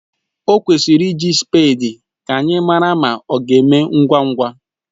O kwesịrị iji spèdi ka anyị mara ma ọ ga-eme ngwa ngwa